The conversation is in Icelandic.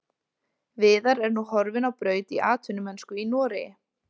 Viðar er nú horfinn á braut í atvinnumennsku í Noregi.